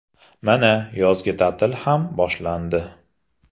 Mana, yozgi ta’til ham boshlandi.